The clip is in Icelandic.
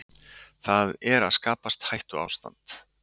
Það er að skapast hættuástand